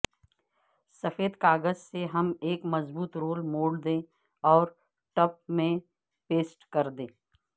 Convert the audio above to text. سفید کاغذ سے ہم ایک مضبوط رول موڑ دیں اور ٹپ میں پیسٹ کریں